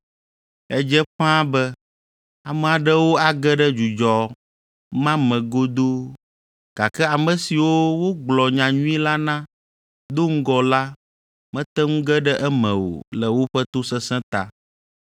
Edze ƒãa be ame aɖewo age ɖe dzudzɔ ma me godoo, gake ame siwo wogblɔ nyanyui la na do ŋgɔ la mete ŋu ge ɖe eme o le woƒe tosesẽ ta.